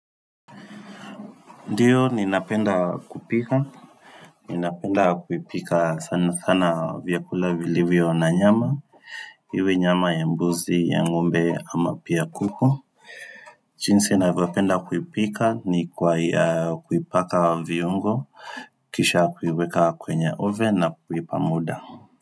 Ndio ninapenda kupika ninapenda kupika sana sana vyakula vilivyo na nyama iwe nyama ya mbuzi ya ngombe ama pia kuku jinsi navyopenda kuipika ni kwa kuipaka viungo kisha kuiweka kwenye oven na kuipa muda.